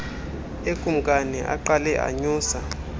ekumkani aqale anyusa